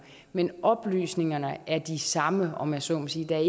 men oplysningerne er de samme om jeg så må sige der er